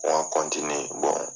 [cs